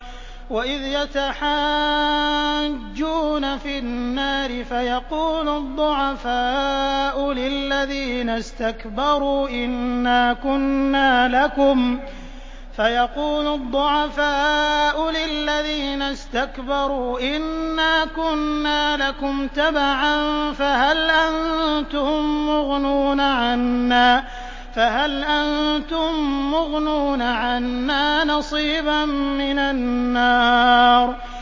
وَإِذْ يَتَحَاجُّونَ فِي النَّارِ فَيَقُولُ الضُّعَفَاءُ لِلَّذِينَ اسْتَكْبَرُوا إِنَّا كُنَّا لَكُمْ تَبَعًا فَهَلْ أَنتُم مُّغْنُونَ عَنَّا نَصِيبًا مِّنَ النَّارِ